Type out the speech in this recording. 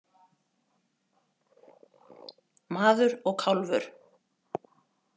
Maður og kálfur.